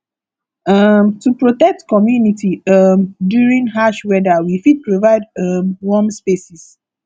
um to protect community um during harsh weather we fit provide um warm spaces